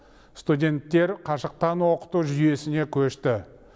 студенттер қашықтан оқыту жүйесіне көшті